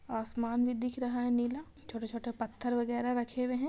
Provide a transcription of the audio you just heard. आसमान भी दिख रहा है नीला छोटे-छोटे पत्थर वगैरा रखे हुए हैं।